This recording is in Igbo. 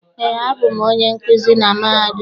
Eé, abụ m onye nkuzi na mahadum a.